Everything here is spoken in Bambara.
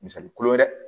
Misali kulo yɛrɛ